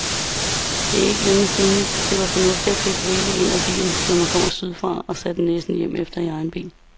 Det er ikke længe siden, det var fornuftigt at købe rigeligt ind af vin, når man kom sydfra og satte næsen hjemefter i egen bil.